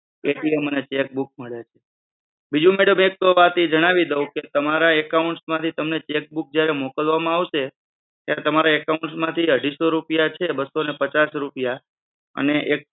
અને cheque book મળે. બીજું madam એક વાત એ જણાવી દવ કે તમારા account માંથી તમે cheque book જ્યારે મોકલવામાં આવશે ત્યારે તમારા account માંથી અઢીસો રૂપિયા જે છે બસો અને પચાસ રૂપિયા અને એક